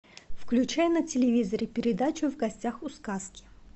включай на телевизоре передачу в гостях у сказки